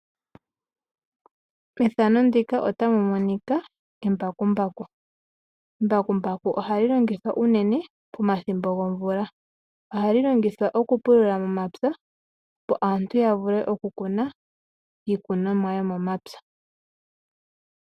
Embakumbaku oha li longithwa unene pomathimbo gomvula, oha li longithwa okupulula momapya opo aantu yavule okukuna iikunomwa yomomapya.